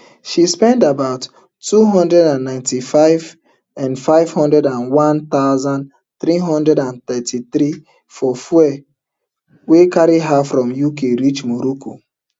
she spend about two hundred and ninety-five um five hundred and one thousand, three hundred and thirty-three for fuel wey carry her from UK reach morocco